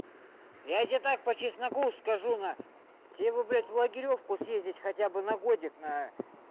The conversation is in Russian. я тебе так по чесноку скажу на тебе бы блядь в лагерёшку съездить хотя бы на годик на